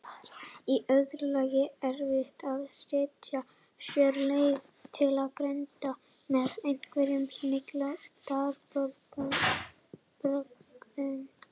Í öðru lagi er erfitt að stytta sér leið til greindar með einhverjum snilldarbrögðum.